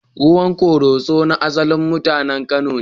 Rawan Koroso na asalin mutanen Kano ne.